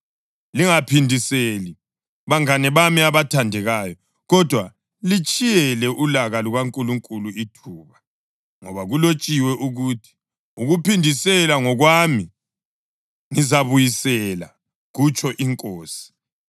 Lingaphindiseli, bangane bami abathandekayo, kodwa litshiyele ulaka lukaNkulunkulu ithuba, ngoba kulotshiwe ukuthi: “Ukuphindisela ngokwami; ngizabuyisela,” + 12.19 UDutheronomi 32.35 kutsho iNkosi.